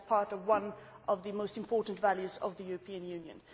that is part of one of the most important values of the European Union.